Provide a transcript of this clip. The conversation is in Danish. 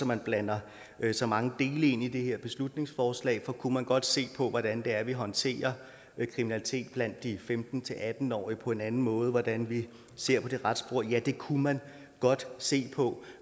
man blander så mange dele ind i det her beslutningsforslag for kunne man godt se på hvordan det er vi håndterer kriminalitet blandt de femten til atten årige på en anden måde og hvordan vi ser på det retsspor ja det kunne man godt se på